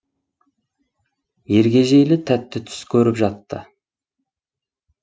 ергежейлі тәтті түс көріп жатты